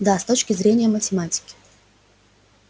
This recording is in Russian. да с точки зрения математики